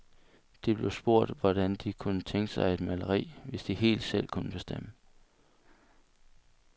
De blev spurgt, hvordan de kunne tænke sig et maleri, hvis de helt selv kunne bestemme.